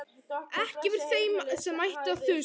Ekki yfir þeim sem ætti að þusa.